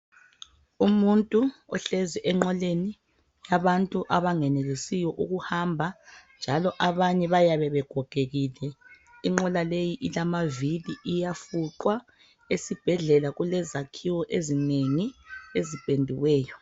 Umuntu ohlezi enqoleni yabantu abangenelisiyo ukuhamba njalo abanye bayabe begogekile inqola leyi ilamavili uyafuqwa. Esibhedlela kulezakhiwo ezinengi ezipendiweyo.